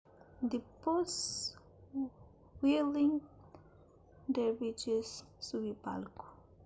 dipôs whirling dervishes subi palku